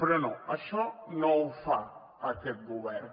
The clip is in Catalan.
però no això no ho fa aquest govern